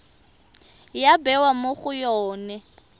ya bewa mo go yone